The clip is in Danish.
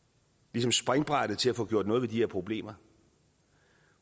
ligesom springbrættet til at få gjort noget ved de her problemer